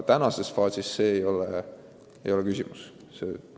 Praeguses faasis see ei ole küsimus.